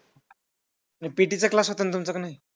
PT चा class होता ना तुमचा का नाही?